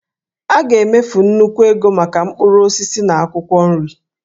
A ga-emefu nnukwu ego maka mkpụrụ osisi na akwụkwọ nri